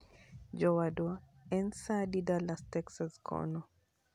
Jowadwa, en saa adi Dallas Texas kono